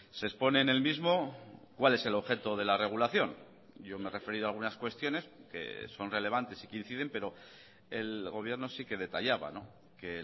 se expone en el mismo cuál es el objeto de la regulación yo me he referido a algunas cuestiones que son relevantes y que inciden pero el gobierno sí que detallaba que